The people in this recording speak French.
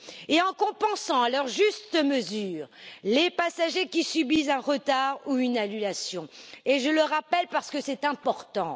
et en compensant, dans une juste mesure, les passagers qui subissent un retard ou une annulation, et je le rappelle parce que c'est important.